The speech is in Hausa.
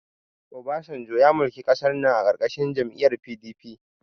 Obasanjo ya mulki ƙasar nan a ƙarƙashin jam'iyyar PDP.